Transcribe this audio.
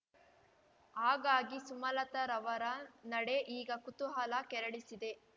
ಹಾಗಾಗಿ ಸುಮಲತಾರವರ ನಡೆ ಈಗ ಕುತೂಹಲ ಕೆರಳಿಸಿದೆ